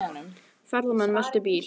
Ferðamenn veltu bíl